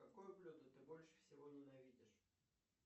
какое блюдо ты больше всего ненавидишь